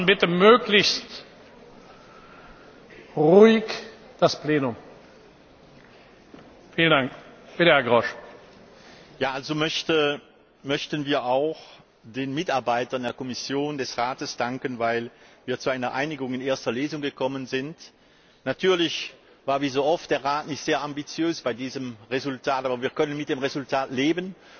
Wir möchten auch den Mitarbeitern der Kommission und des Rates danken, weil wir zu einer Einigung in erster Lesung gekommen sind. Natürlich war der Rat wie so oft nicht sehr ambitiös bei diesem Resultat, aber wir können mit dem Resultat leben.